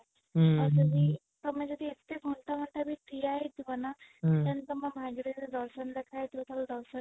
ହୁଁ ଆଉ ତମେ ଯଦି ଏତେ ଘଣ୍ଟା ଘଣ୍ଟା ଧରି ଠିଆ ହେଇ ଥିବ ନା ହୁଁ ତାହେଲେ ତମ ଭାଗ୍ୟ ରେ ଦର୍ଶନ ଲେଖା ହେଇଥିବ ତାହେଲେ ଦର୍ଶନ